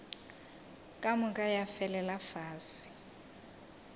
ka moka ya felela fase